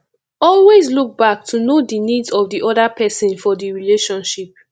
always look back to know di needs of di oda person for di relationship